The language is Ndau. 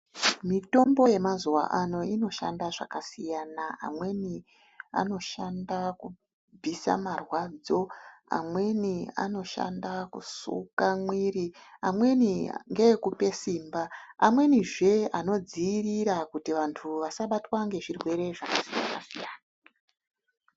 Mitombo yemazuwa ano inoshanda zvakasiyana amweni anoshanda kubvisa marwadzo amweni anoshanda kusuka mwiri amweni ngekupe simba amwenizve anodziirira kuti vantu vasabatwa ngezvirwere zvakasiyana -siyana.